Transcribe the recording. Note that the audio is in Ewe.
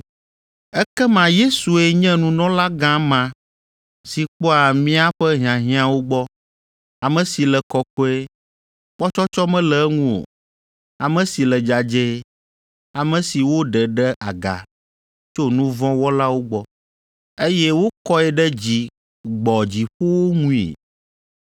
Ekema Yesue nye nunɔlagã ma si kpɔa míaƒe hiahiãwo gbɔ, ame si le kɔkɔe, kpɔtsɔtsɔ mele eŋu o, ame si le dzadzɛe, ame si woɖe ɖe aga tso nu vɔ̃ wɔlawo gbɔ, eye wokɔe ɖe dzi gbɔ dziƒowo ŋui.